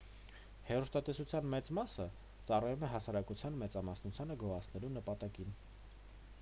հեռուստատեսության մեծ մասը ծառայում է հասարակության մեծամասնությանը գոհացնելու նպատակին